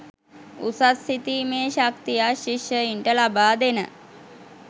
උසස් සිතීමේ ශක්තියක් ශිෂ්‍යයින්ට ලබා දෙන